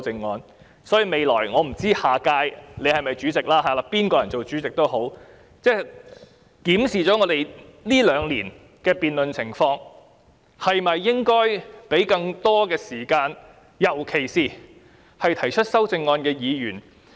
我不知道主席下屆會否連任主席一職，但不論誰人當主席，也應該檢視一下這兩年的辯論情況，考慮給予議員更多發言時間，尤其是提出修正案的議員。